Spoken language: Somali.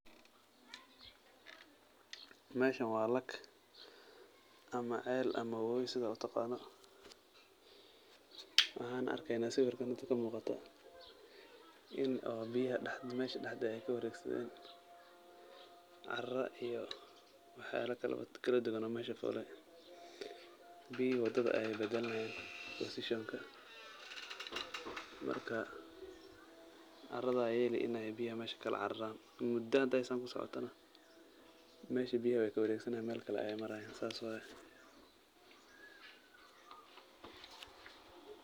Meshan waa lag ama cel ama wobi sida utaqano, waxan arkeyna sawirkan inta kamuuqato in oo biyaha mesha dhaxda eh ay kawaregsadeen caara iyo wax yala kala duban aya mesha fuleen, biyihi wadada aya badalmayan bosishonka, marka caarada aya ilinaya ila biyaha mesha kala caararan ,muda haday San kusocotana mesha biyaha way kawareg sanayan Mel kale ayay marayan, sas waye